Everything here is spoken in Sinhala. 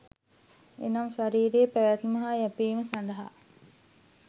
එනම් ශරීරයේ පැවැත්ම හා යැපීම සඳහා